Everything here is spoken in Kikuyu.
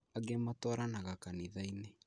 Angi matwaranaga kanithainĩ